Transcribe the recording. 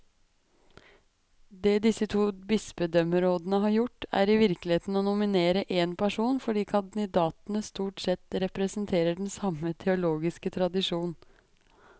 Det disse to bispedømmerådene har gjort, er i virkeligheten å nominere én person, fordi kandidatene stort sett representerer den samme teologiske tradisjon.